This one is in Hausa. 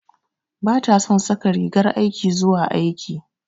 Bata son saka rigar aiki zuwa aiki.